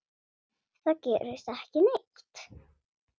Það gerist ekki neitt.